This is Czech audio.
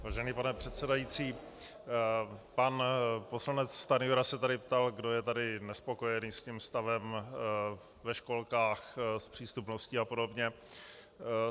Vážený pane předsedající, pan poslanec Stanjura se tady ptal, kdo je tady nespokojený s tím stavem ve školkách, s přístupností a podobně.